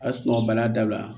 A sunɔgɔ bana dabila